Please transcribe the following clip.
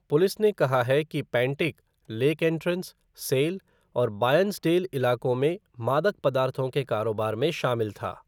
Police ने कहा है कि पैंटिक लेक एंट्रेंस, सेल और बायर्न्सडेल इलाकों में मादक पदार्थों के कारोबार में शामिल था।